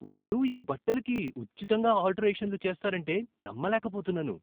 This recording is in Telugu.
వాళ్ళు ఈ బట్టలకి ఉచితంగా ఆల్టరేషన్లు చేస్తారంటే నమ్మలేకపోతున్నాను!